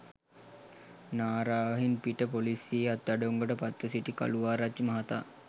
නාරාහෙන්පිට පොලිසියේ අත්අඩංගුවට පත්ව සිටි කළුආච්චි මහතා